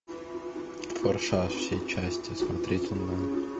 форсаж все части смотреть онлайн